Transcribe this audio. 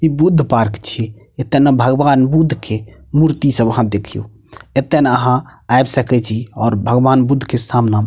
इ बुद्ध पार्क छीये एता ने भगवान बुद्ध के मूर्ति सब आहां देखियो एता ने अहां ऐब सके छी और भगवान बुद्ध के सामना में --